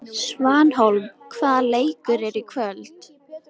Svanhólm, hvaða leikir eru í kvöld?